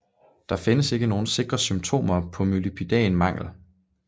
Der findes ikke nogle sikre symptomer på molybdæn mangel